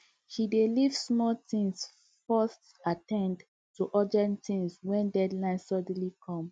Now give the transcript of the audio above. she dey leave small things first at ten d to urgent things when deadline suddenly come